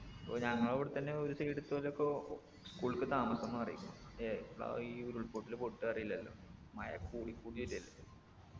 ഓ ഞങ്ങളിവിടെ തന്നെ ഒരു side ത്തൊലൊക്കൊ school ക്ക് താമസം മാറി എപ്പാ ഈ ഉരുൾപൊട്ടൽ പൊട്ട അറിയില്ലല്ലോ മഴ കൂടി കൂടി വരു അല്ലെ